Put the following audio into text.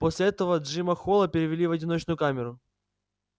после этого джима холла перевели в одиночную камеру